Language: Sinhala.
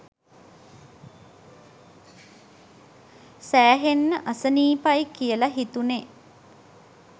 සෑහෙන්න අසනීපයි කියල හිතුනේ.